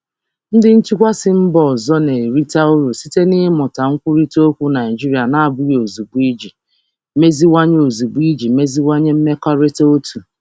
Ndị njikwa si mba ọzọ na-erite uru site n'ịmụta nkwurịta okwu Naịjirịa na-abụghị ozugbo iji meziwanye mmekọrịta otu.